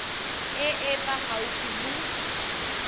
e e fa gaufi le